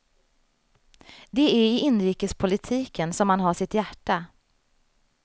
Det är i inrikespolitiken som han har sitt hjärta.